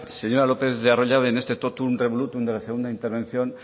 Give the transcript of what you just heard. señora lópez de arroyabe en este totum revolutum de la segunda intervención